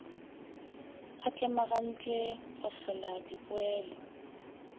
a tlemagantpwe go hlola dipoelo